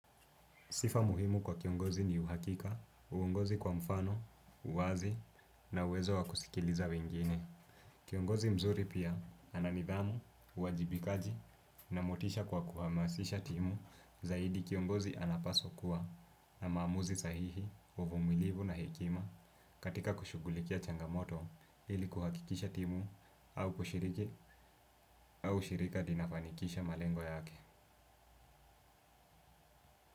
Sifa muhimu kwa kiongozi ni uhakika, uongozi kwa mfano, uwazi na uwezo wa kusikiliza wengine. Kiongozi mzuri pia ananidhamu, uwajibikaji na motisha kwa kuhamasisha timu zaidi kiongozi anapaswa kuwa na mamuzi sahihi, uvumilivu na hekima katika kushughulikia changamoto ili kuhakikisha timu au kushiriki au ushirika ndiyo inafanikisha malengo yake.